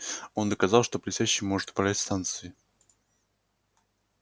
он доказал что блестяще может управлять станцией